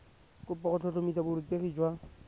kopo go tlhotlhomisa borutegi jwa